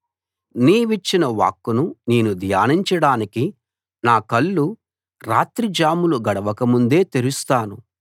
నీవిచ్చిన వాక్కును నేను ధ్యానించడానికి నాకళ్ళు రాత్రిజాములు గడవక ముందే తెరుస్తాను